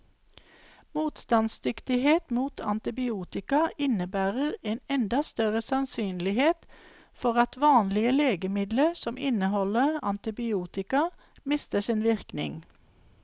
Motstandsdyktighet mot antibiotika innebærer en enda større sannsynlighet for at vanlige legemidler som inneholder antibiotika, mister sin virkning.